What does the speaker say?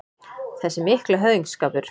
Þessi mikli höfðingsskapur